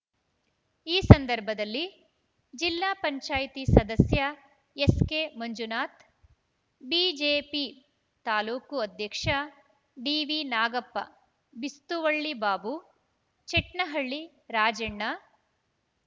ಈ ಸಂದರ್ಭದಲ್ಲಿ ಜಿಲ್ಲಾ ಪಂಚಾಯ್ತಿ ಸದಸ್ಯ ಎಸ್‌ಕೆಮಂಜುನಾಥ್‌ ಬಿಜೆಪಿ ತಾಲೂಕು ಅಧ್ಯಕ್ಷ ಡಿವಿನಾಗಪ್ಪ ಬಿಸ್ತುವಳ್ಳಿ ಬಾಬು ಚಟ್ನಹಳ್ಳಿ ರಾಜಣ್ಣ